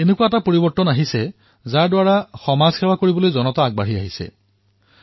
এনেকুৱা এক পৰিৱৰ্তন হৈছে যত সমাজৰ সেৱাৰ বাবে জনতা আগবাঢ়ি ওলাই আহিছে